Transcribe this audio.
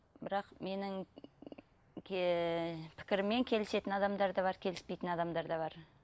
бірақ менің пікіріммен келісетін адамдар да бар келіспейтін адамдар да бар